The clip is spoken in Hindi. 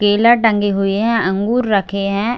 केला टंगे हुए है अंगूर रखे हैं ।